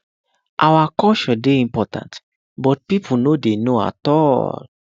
our culture dey important but people no dey know at all